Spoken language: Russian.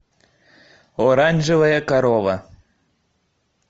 оранжевая корова